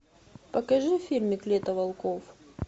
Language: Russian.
покажи фильмик лето волков